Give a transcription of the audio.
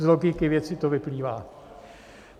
Z logiky věci to vyplývá.